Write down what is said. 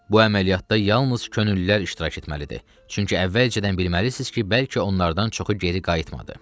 Bu əməliyyatda yalnız könüllülər iştirak etməlidir, çünki əvvəlcədən bilməlisiniz ki, bəlkə onlardan çoxu geri qayıtmadı.